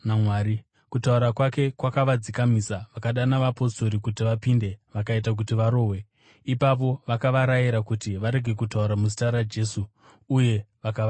Kutaura kwake kwakavadzikamisa. Vakadana vapostori kuti vapinde vakaita kuti varohwe. Ipapo vakavarayira kuti varege kutaura muzita raJesu, uye vakavaregedza.